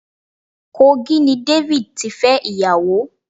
Kogi ni David tí fẹ́ ìyàwó.